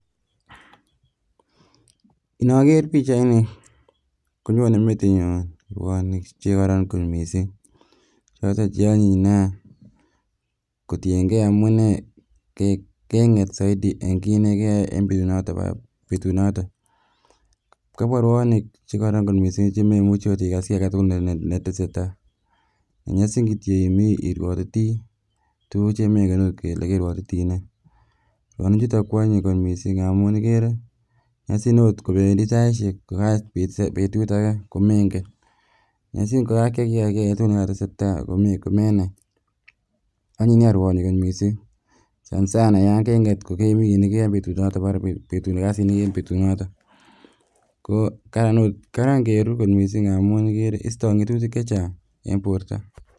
Inoker pichaini konyone metinyun ruonik che koron kot missing choton che onyin nia kotiyengee amunee kenget soiti en kit nekeyoe en betu noton kapwa ruonik chekoron kot missng chememuchi okot kokas kit agetukul nekotesetai nenyosi kityok imii iruotiti tukuk chemenge okot ile keruotiti nee ruonik chutok ko onyin kot missing amun ikere nyozin okot kopendii saishek kokakoit okot betut age komengen nyozi kokakyai kii age en betu nekotese tai komenai onyin nia kot ruonik kot missing sana sana yon kenget ko kemi kit nekeyoe en bet noton mara kazi nekeyoe en betu noton karan ingeru kot missing ikere istoe ngetutik chechang en borto